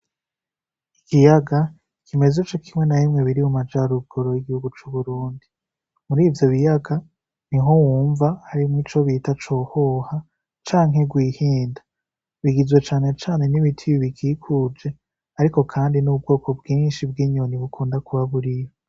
Igiyaga ikimezo co kimwe na bimwe biri mu majara ubgoro y'igihugu c'uburundi muri ivyo biyaga ni ho wumva harimwo ico bita cohoha canke rwihinda bigizwe cane cane n'ibitibibikikuje, ariko kandi n'ubwoko bwinshi bw'inyoni bukunda kuba buriyo.